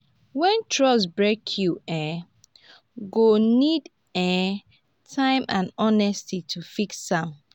wen trust break yu um go nid um time and honesty to fix am.